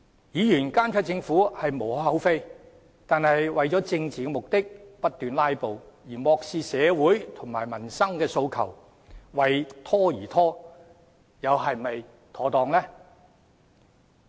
議員監察政府無可厚非，但為了政治目的，不斷"拉布"，漠視社會及民生訴求，為拖而拖，做法又是否妥當呢？